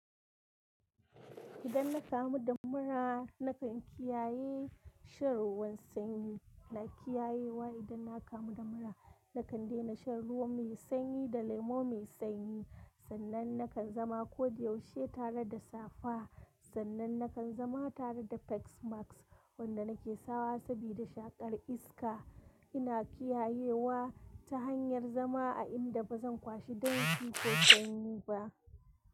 Idan na kamu da mura nakan kiyaye shan ruwan sanyi. Na kiyayewa idan na kamu da mura nakan daina shan ruwa mai sanyi da lemo mai sanyi. Sannan nakan zama kodayaushe tare da safa, sannan nakan zama tare da paks max wanda na ke sawa sabida shaƙar iska. Ina kiyayewa ta hanyar zama a inda ba zan kwashi danshi ko sanyi ba.